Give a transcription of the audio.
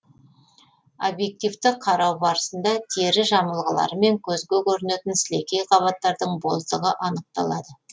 обьективті қарау барысында тері жамылғылары мен көзге көрінетін сілемей қабаттардың боздығы анықталады